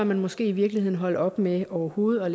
man måske i virkeligheden holde op med overhovedet at